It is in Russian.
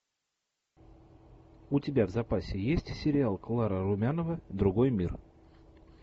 у тебя в запасе есть сериал клара румянова другой мир